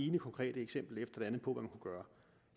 ene konkrete eksempel efter det andet på gøre